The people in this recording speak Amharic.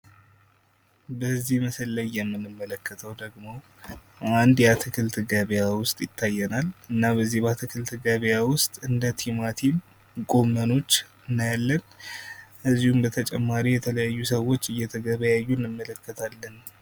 በዚህ ምስል ላይ የምንመለከተው ደግሞ አንድ የአትክልት ገበያ ውስጥ ይታየናል። እና በዚህ የአትክልት ገበያ ውስጥ እንደ ቲማቲም ጎመኖች እንመለከታለን። ከዚህም በተጨማሪ የተለያዩ ሰዎች እየተገበያዩ እንመለከታለን።